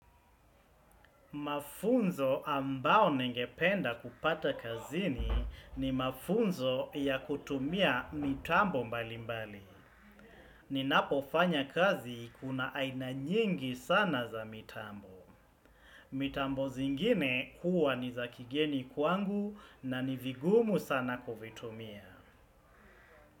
Mafunzo ambao ningependa kupata kazini ni mafunzo ya kutumia mitambo mbali mbali. Ninapo fanya kazi kuna aina nyingi sana za mitambo. Mitambo zingine huwa ni za kigeni kwangu na ni vigumu sana kuvitumia.